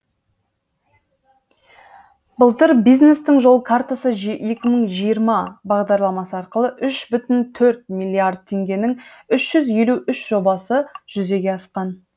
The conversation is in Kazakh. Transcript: былтыр бизнестің жол картасы екі мың жиырма бағдарламасы арқылы үш бүтін төрт миллиард теңгенің үш жүз елу үш жобасы жүзеге асқан